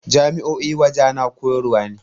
Jami'o'i wajana koyarwa ne